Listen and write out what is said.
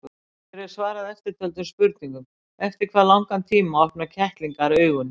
Hér er svarað eftirtöldum spurningum: Eftir hvað langan tíma opna kettlingar augun?